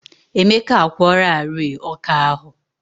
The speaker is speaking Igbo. Emeka a kwụọlarịị ọkà ahụ.